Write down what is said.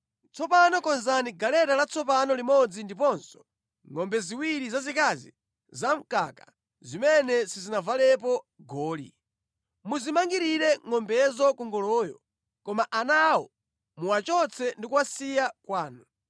“Tsopano konzani galeta latsopano limodzi ndiponso ngʼombe ziwiri zazikazi zamkaka zimene sizinavalepo goli. Muzimangirire ngʼombezo ku ngoloyo, koma ana awo muwachotse ndi kuwasiya kwanu.